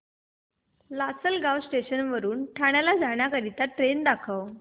Lasalgaon station वरून ठाण्याला जाणारी ट्रेन दाखव